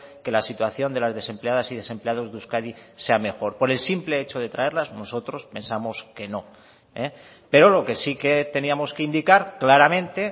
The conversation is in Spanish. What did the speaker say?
que la situación de las desempleadas y desempleados de euskadi sea mejor por el simple hecho de traerlas nosotros pensamos que no pero lo que sí que teníamos que indicar claramente